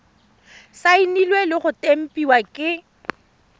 saenilwe le go tempiwa ke